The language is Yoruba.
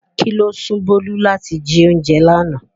Kí ló sún Bolu láti jí oúnjẹ lánàá?